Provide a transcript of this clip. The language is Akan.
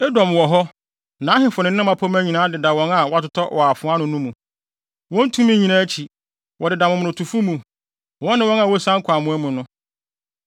“Edom wɔ hɔ, nʼahemfo ne ne mmapɔmma nyinaa deda wɔn a wɔatotɔ wɔ afoa ano no mu, wɔn tumi nyinaa akyi. Wɔdeda momonotofo mu, wɔne wɔn a wosian kɔ amoa mu no.